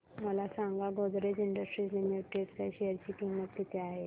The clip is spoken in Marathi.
मला सांगा गोदरेज इंडस्ट्रीज लिमिटेड च्या शेअर ची किंमत किती आहे